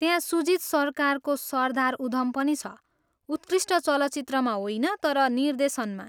त्यहाँ सुजित सर्कारको सरदार उधम पनि छ, उत्कृष्ट चलचित्रमा होइन तर निर्देशनमा।